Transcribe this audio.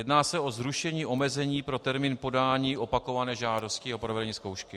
Jedná se o zrušení omezení pro termín podání opakované žádosti o provedení zkoušky.